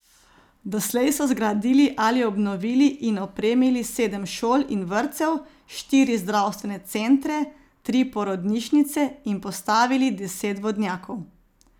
Doslej so zgradili ali obnovili in opremili sedem šol in vrtcev, štiri zdravstvene centre, tri porodnišnice in postavili deset vodnjakov.